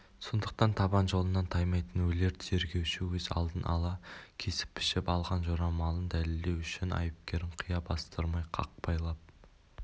сондықтан табан жолынан таймайтын өлер тергеуші өз алдын ала кесіп-пішіп алған жорамалын дәлелдеу үшін айыпкерін қия бастырмай қақпайлап